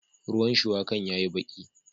Ruwan shuwakan ya yi baki